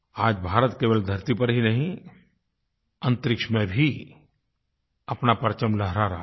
आज भारत केवल धरती पर ही नहीं अंतरिक्ष में भी अपना परचम लहरा रहा है